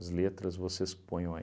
As letras vocês ponham aí.